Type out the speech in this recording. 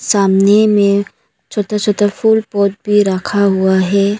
सामने में छोटा छोटा फूल और पेड़ रखा हुआ है।